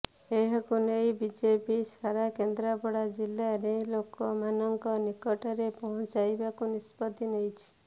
ଏହାକୁ ନେଇ ବିଜେପି ସାରା କେନ୍ଦ୍ରାପଡ଼ା ଜିଲ୍ଲାରେ ଲୋକ ମାନଙ୍କ ନିକଟରେ ପହଞ୍ଚାଇବାକୁ ନିଷ୍ପତ୍ତି ନେଇଛି